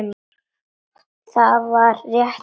Þar var þétt myrkur.